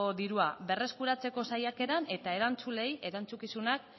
dirua berreskuratzeko saiakeran eta erantzuleei erantzukizunak